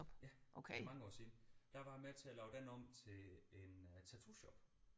Ja for mange år siden der var jeg med til at lave den om til en øh tattoo shop